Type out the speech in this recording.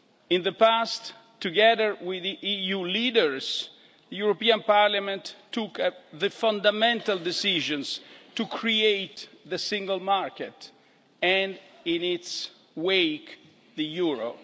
In the past, together with the EU leaders, the European Parliament took the fundamental decisions to create the Single Market, and in its wake, the euro.